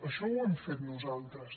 això ho hem fet nosaltres